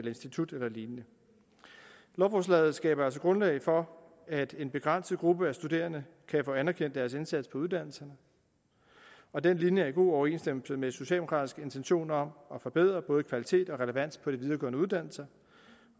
institut eller lignende lovforslaget skaber altså grundlag for at en begrænset gruppe af studerende kan få anerkendt deres indsats på uddannelserne og den linje er i god overensstemmelse med socialdemokraternes intention om at forbedre både kvalitet og relevans på de videregående uddannelser